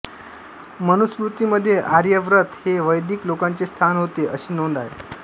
मनुस्मृतीमध्ये आर्यावर्त हे वैदिक लोकांचे स्थान होते अशी नोंद आहे